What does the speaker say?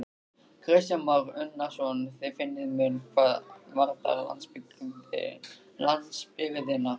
Kristján Már Unnarsson: Þið finnið mun hvað varðar landsbyggðina?